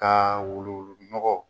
Ka wulu wulu nɔgɔ